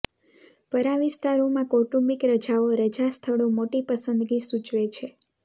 પરાં વિસ્તારોમાં કૌટુંબિક રજાઓ રજા સ્થળો મોટી પસંદગી સૂચવે છે